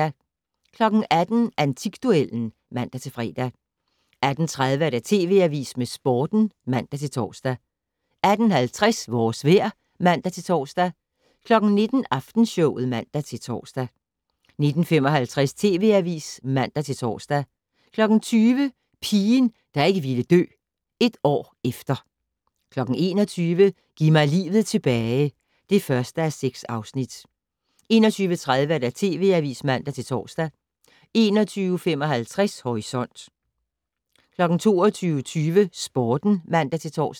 18:00: Antikduellen (man-fre) 18:30: TV Avisen med Sporten (man-tor) 18:50: Vores vejr (man-tor) 19:00: Aftenshowet (man-tor) 19:55: TV Avisen (man-tor) 20:00: Pigen, der ikke ville dø - et år efter 21:00: Giv mig livet tilbage (1:6) 21:30: TV Avisen (man-tor) 21:55: Horisont 22:20: Sporten (man-tor)